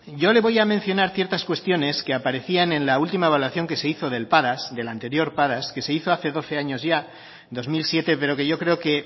yo le voy a mencionar ciertas cuestiones que aparecían en la última evaluación que se hizo del padas del anterior padas que se hizo hace doce años ya dos mil siete pero que yo creo